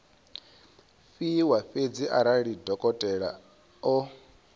fhiwa fhedzi arali dokotela o